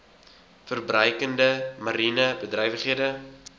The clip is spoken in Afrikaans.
verbruikende mariene bedrywighede